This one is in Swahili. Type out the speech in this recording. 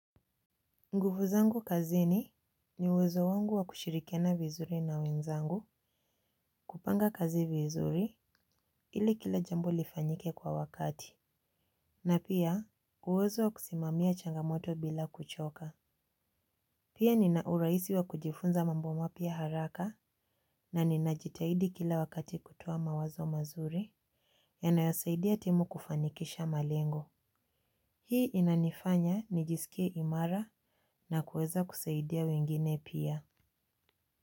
Nguvu zangu kazini ni uwezo wangu wa kushirikiana vizuri na wenzangu kupanga kazi vizuri ili kila jambo lifanyike kwa wakati. Na pia uwezo wa kusimamia changamoto bila kuchoka. Pia nina urahisi wa kujifunza mambo mapya haraka na ninajitahidi kila wakati kutoa mawazo mazuri yanayosaidia timu kufanikisha malengo. Hii inanifanya nijisikie imara na kuweza kusaidia wengine pia.